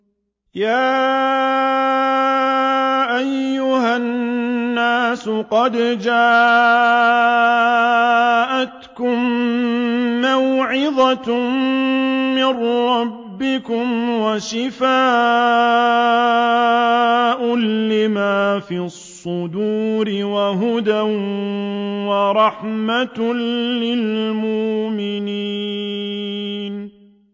يَا أَيُّهَا النَّاسُ قَدْ جَاءَتْكُم مَّوْعِظَةٌ مِّن رَّبِّكُمْ وَشِفَاءٌ لِّمَا فِي الصُّدُورِ وَهُدًى وَرَحْمَةٌ لِّلْمُؤْمِنِينَ